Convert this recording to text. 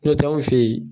N'o tɛ anw fɛ yen